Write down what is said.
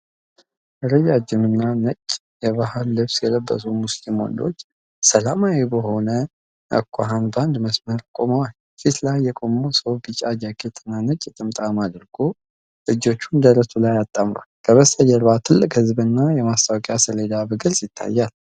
ረጃጅም ነጭና የባህል ልብስ የለበሱ ሙስሊም ወንዶች፣ ሰላማዊ በሆነ አኳኋን በአንድ መስመር ቆመዋል። ፊት ላይ የቆመው ሰው ቢጫ ጃኬትና ነጭ ጥምጣም አድርጎ፣ እጆቹን ደረቱ ላይ አጣምሯል። ከበስተጀርባ ትልቅ ሕዝብና የማስታወቂያ ሰሌዳ በግልጽ ይታያል።